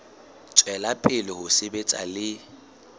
tswela pele ho sebetsa le